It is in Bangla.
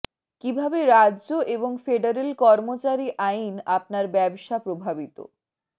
কিভাবে রাজ্য এবং ফেডারেল কর্মচারী আইন আপনার ব্যবসা প্রভাবিত